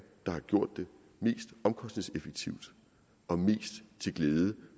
der har gjort det mest omkostningseffektivt og mest til glæde